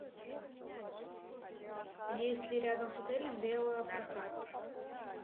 есть ли рядом с отелем велопрокат